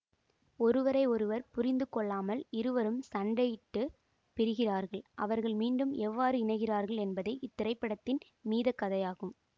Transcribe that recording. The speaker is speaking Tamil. ஒருவரை ஒருவர் புரிந்து கொள்ளாமல் இருவரும் சண்டையிட்டுப் பிரிகிறார்கள் அவர்கள் மீண்டும் எவ்வாறு இணைகிறார்கள் என்பதே இத்திரைப்படத்தின் மீதக் கதையாகும்